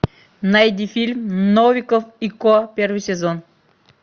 найди фильм новиков и ко первый сезон